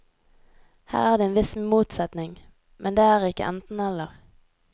Her er det en viss motsetning, men det er ikke enten eller.